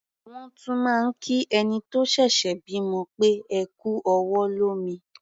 Wọ́n tún máa ń kí ẹni tó ṣẹ̀ṣẹ̀ bímọ pé "ẹ kú ọwọ́ lómi".